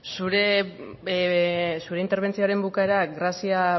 zure interbentzioaren bukaera grazia